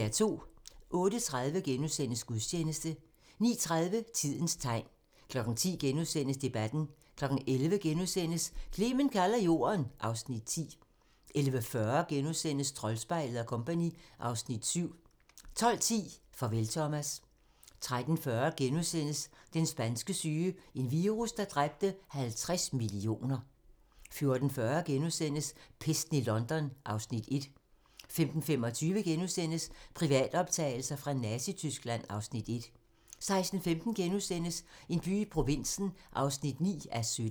08:30: Gudstjeneste * 09:30: Tidens tegn 10:00: Debatten * 11:00: Clement kalder Jorden (Afs. 10)* 11:40: Troldspejlet & Co. (Afs. 7)* 12:10: Farvel Thomas 13:40: Den spanske syge - en virus, der dræbte 50 millioner * 14:40: Pesten i London (Afs. 1)* 15:25: Privatoptagelser fra Nazityskland (Afs. 1)* 16:15: En by i provinsen (9:17)*